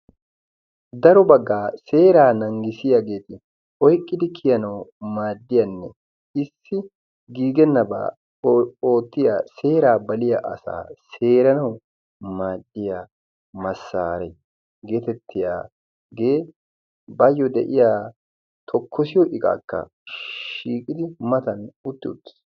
daro baggaa seeraa nanggisiyaageeti oyqqidi kiyanau maaddiyaanne issi giigennabaa oottiya seeraa baliya asaa seeranawu maaddiya massaare geetettiyaagee baayyo de7iya tokkosiyo iqaakka shiiqidi matan utti uttiis